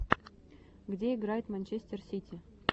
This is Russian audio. где играет манчестер сити